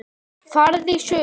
Farðu í sund.